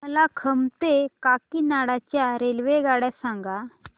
मला खम्मम ते काकीनाडा च्या रेल्वेगाड्या सांगा